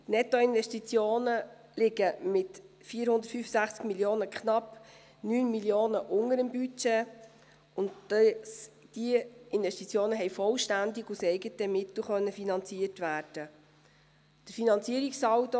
Die Nettoinvestitionen liegen mit 465 Mio. Franken knapp 9 Mio. Franken unter dem Budget, und diese Investitionen haben vollständig aus eigenen Mitteln finanziert werden können.